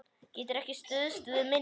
Geturðu ekki stuðst við minnið?